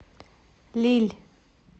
лилль